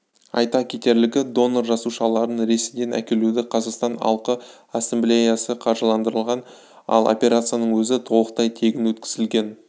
айта кетерлігі донор жасушаларын ресейден әкелуді қазақстан алқы ассамблеясы қаржыландырған ал операцияның өзі толықтай тегін өткізілген